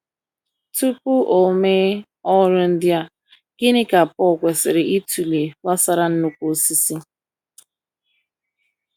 Tupu o mee ọrụ ndị a, gịnị ka Paul kwesịrị ịtụle gbasara nnukwu osisi?